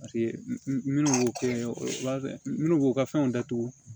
Paseke minnu b'o kɛ minnu b'u ka fɛnw datugu